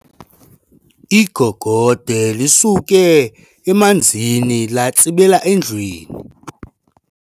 Igogode lisuke emanzini latsibela endlwini.